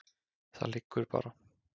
Það liggur bara.